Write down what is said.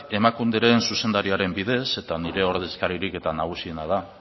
emakunderen zuzendariaren bidez eta nire ordezkaririk nagusiena da